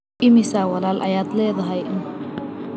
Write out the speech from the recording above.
Immisa walaal ayaad leedahay?